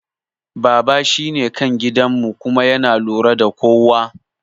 Baba shine kan gidan mu kuma yana lura da kowa